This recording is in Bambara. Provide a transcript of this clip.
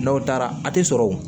N'aw taara a ti sɔrɔ o